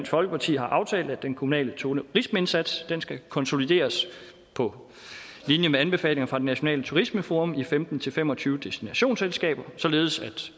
folkeparti har aftalt at den kommunale turismeindsats skal konsolideres på linje med anbefalinger fra det nationale turismeforum i femten til fem og tyve destinationsselskaber således at